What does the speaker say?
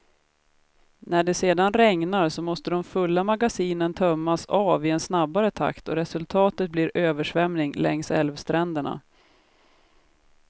När det sedan regnar, så måste de fulla magasinen tömmas av i en snabbare takt och resultatet blir översvämning längs älvstränderna.